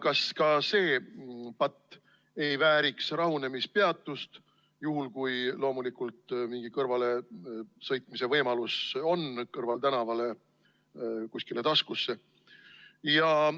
Kas ka see patt ei vääriks rahunemispeatust, loomulikult juhul, kui on mingi kõrvalesõitmise võimalus kõrvaltänavale või kusagile taskusse?